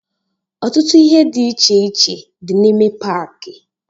Ọtụtụ ihe dị iche iche dị n'ime paaki.